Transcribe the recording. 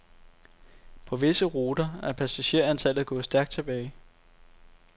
På visse ruter er passagertallet gået stærkt tilbage.